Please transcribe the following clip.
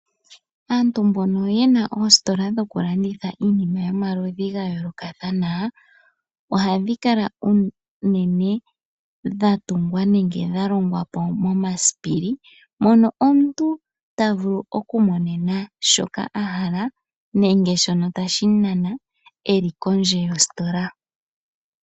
Aantu mbono yena oositola dhokulanditha iinima yomaludhi gayoolokathana ohadhi kala po unene dhatungwa nenge dhalongwa momasisipili mono omuntu tavulu okumonena shoka ahala nenge shono tashi mu nana eli kondje yositola.